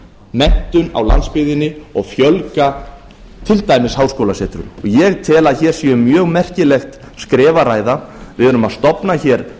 menntun á landsbyggðinni og fjölga til dæmis háskólasetrum ég tel að hér sé um mjög merkilegt skref að ræða við erum að stofna hér